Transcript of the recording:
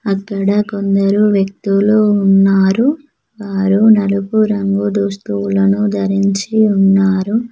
అక్కడ కొందరు వ్యక్తులు ఉన్నారు వారు నలుపు రంగు దుస్తువులను ధరించి ఉన్నారు.